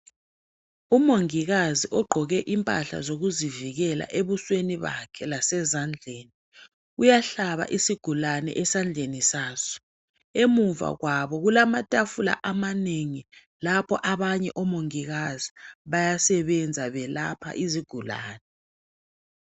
Umongikazi ogqoke impahla zokuzivikela ebusweni bakhe lasezandleni uyahlaba isigulane esandleni saso emuva kwabo kulamatafula amanengi lapho abanye omongikazi bayasebenza belapha izigulane.